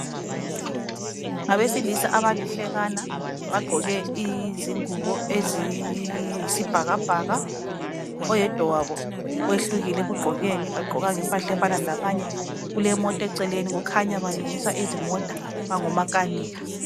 Ngabesilisa abalihlekana bagqoke izingubo eziyisibhakabhaka oyedwa wabo wehlukile ekugqokeni kagqokanga impahla efana labanye kulemota eceleni kukhanya balungisa izimota bangomakanika